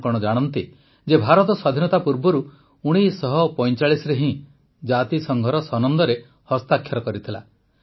ଆପଣ କଣ ଜାଣନ୍ତି ଯେ ଭାରତ ସ୍ୱାଧୀନତା ପୂର୍ବରୁ ୧୯୪୫ରେ ହିଁ ଜାତିସଂଘର ସନନ୍ଦରେ ହସ୍ତାକ୍ଷର କରିଥିଲା